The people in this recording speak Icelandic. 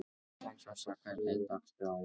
Sossa, hvernig er dagskráin í dag?